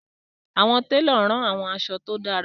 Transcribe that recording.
Awọn telo ran awọn aṣọ ti o dara